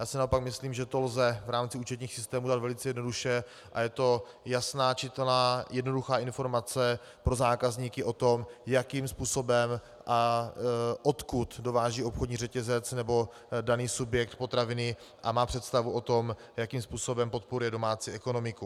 Já si naopak myslím, že to lze v rámci účetních systémů udělat velice jednoduše a je to jasná, čitelná, jednoduchá informace pro zákazníky o tom, jakým způsobem a odkud dováží obchodní řetězec nebo daný subjekt potraviny, a má představu o tom, jakým způsobem podporuje domácí ekonomiku.